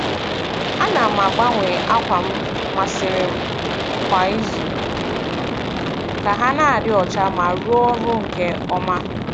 A na m agbanwe ákwà m masịrị m kwa izu ka ha na-adị ọcha ma rụọ ọrụ nke ọma.